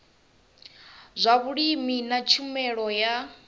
zwa vhulimi na tshumelo ya